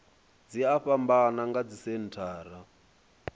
dzi a fhambana nga dzisenthara